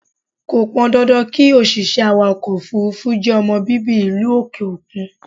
Kò pọn dandan kí òṣìṣẹ́ awàkọ̀ òfúrúfú jẹ́ ọmọ bíbí ìlú òkè òkun.